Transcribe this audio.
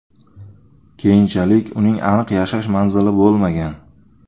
Keyinchalik uning aniq yashash manzili bo‘lmagan.